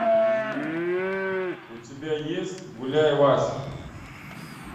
у тебя есть гуляй вася